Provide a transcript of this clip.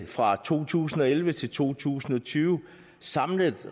fra to tusind og elleve til to tusind og tyve samlet